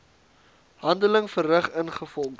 handeling verrig ingevolge